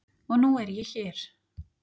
Og nú er ég hér!